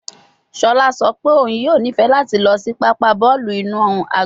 Shola sọ pe oun yoo nifẹ lati lọ si papa bọọlu inu agbọn